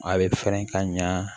A bɛ fɛrɛ ka ɲa